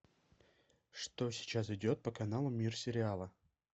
что сейчас идет по каналу мир сериала